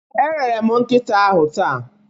Erere m nkịta ahụ taa.